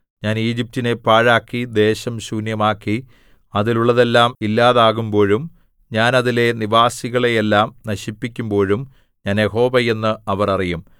ഞാൻ ഈജിപ്റ്റിനെ പാഴാക്കി ദേശം ശൂന്യമാക്കി അതിലുള്ളതെല്ലാം ഇല്ലാതാകുമ്പോഴും ഞാൻ അതിലെ നിവാസികളെയെല്ലാം നശിപ്പിക്കുമ്പോഴും ഞാൻ യഹോവ എന്ന് അവർ അറിയും